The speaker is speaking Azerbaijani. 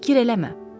Fikir eləmə.